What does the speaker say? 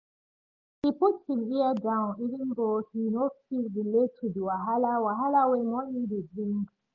he put him ear down even tho he no fit relate to the wahala wahala wey money dey bring